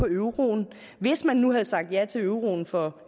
euroen hvis man nu havde sagt ja til euroen for